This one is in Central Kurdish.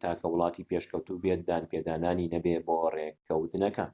تاکە وڵاتی پێشکەوتوو بێت دانپێدانانی نەبێت بۆ ڕێکەوتنەکە